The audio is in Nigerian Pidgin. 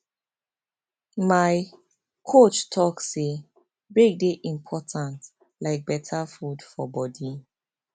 my coach talk say break dey important like better food for body